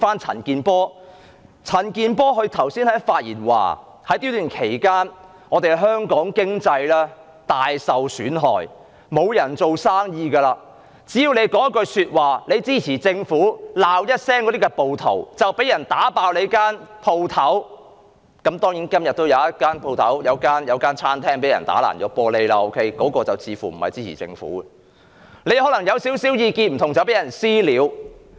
陳健波議員剛才發言時，指在這段期間，香港經濟大受損害，沒有人做生意，只要你說一句支持政府的話，罵一聲那些暴徒，便會被人破壞你的店鋪——今天也有一間餐廳被人打碎玻璃，但那間餐廳似乎不是支持政府的——你可能因有少許不同的意見便被人"私了"。